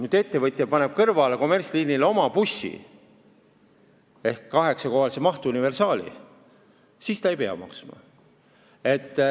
Kui ettevõtja paneb kommertsliini kõrvale käima oma bussi ehk kaheksakohalise mahtuniversaali, siis ta ei pea seda maksma.